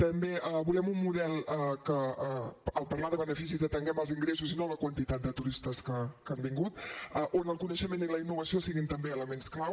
també volem un model que al parlar de beneficis atenguem als ingressos i no a la quantitat de turistes que han vingut on el coneixement i la innovació siguin també elements clau